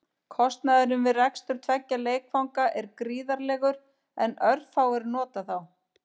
Kostnaðurinn við rekstur tveggja leikvanga er gríðarlegur en örfáir nota þá.